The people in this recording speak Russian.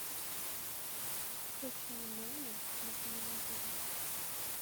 включай нано на телевизоре